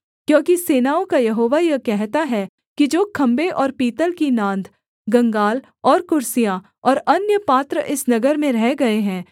क्योंकि सेनाओं का यहोवा यह कहता है कि जो खम्भे और पीतल की नांद गंगाल और कुर्सियाँ और अन्य पात्र इस नगर में रह गए हैं